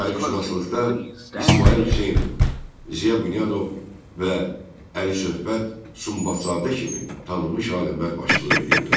Tarixşünaslıqda İsmayıl Hüseynov, Ziya Bünyadov və Əli Söhbət Sumbatzadə kimi tanınmış alimlər başçılıq edirdilər.